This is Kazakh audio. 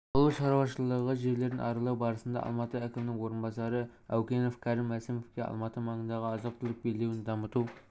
ауыл шаруашылығы жерлерін аралау барысында алматы әкімінің орынбасары аукенов кәрім мәсімовке алматы маңындағы азық-түлік белдеуін дамыту